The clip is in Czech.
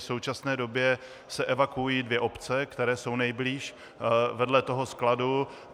V současné době se evakuují dvě obce, které jsou nejblíž vedle toho skladu.